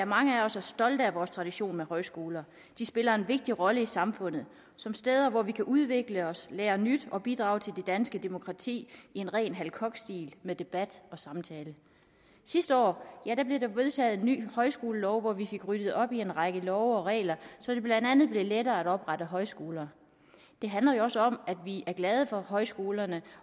mange af os er stolte af vores tradition med højskoler de spiller en vigtig rolle i samfundet som steder hvor vi kan udvikle os lære nyt og bidrage til det danske demokrati i en ren hal koch stil med debat og samtale sidste år blev der vedtaget en ny højskolelov hvor vi fik ryddet op i en række love og regler så det blandt andet blev lettere at oprette højskoler det handler jo også om at vi er glade for højskolerne